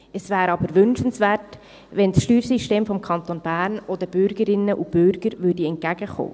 Es wäre jedoch wünschenswert, wenn das Steuersystem des Kantons Bern auch den Bürgerinnen und Bürgern entgegenkäme.